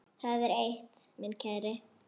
Það er eitt, minn kæri.